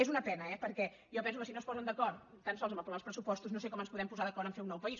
és una pena eh perquè jo penso que si no es posen d’acord tan sols a aprovar els pressupostos no sé com ens podem posar d’acord a fer un nou país